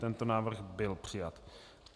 Tento návrh byl přijat.